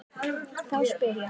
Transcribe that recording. Þá spyr ég.